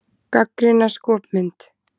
Gagnrýna skopmynd